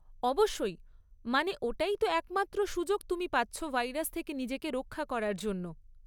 অবশ্যই, মানে ওটাই তো একমাত্র সুযোগ তুমি পাচ্ছ ভাইরাস থেকে নিজেকে রক্ষা করার জন্য।